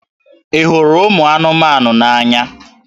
Ị hụrụ ụmụ anụmanụ n'anya?